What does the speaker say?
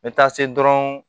N bɛ taa se dɔrɔn